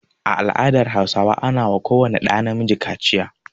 A al'adar Hausawa ana wa ko wani ɗa na miji kaciya.